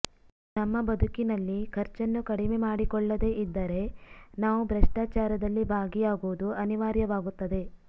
ನಮ್ಮ ಬದುಕಿನಲ್ಲಿ ಖರ್ಚನ್ನು ಕಡಿಮೆ ಮಾಡಿಕೊಳ್ಳದೇ ಇದ್ದರೆ ನಾವು ಭ್ರಷ್ಟಾಚಾರದಲ್ಲಿ ಭಾಗಿಯಾಗುವುದು ಅನಿವಾರ್ಯವಾಗುತ್ತದೆ